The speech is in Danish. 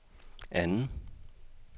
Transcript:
anden